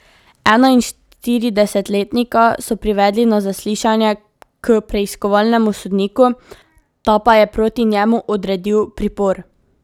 Enainštiridesetletnika so privedli na zaslišanje k preiskovalnemu sodniku, ta pa je proti njemu odredil pripor.